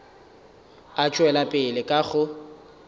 a tšwela pele ka go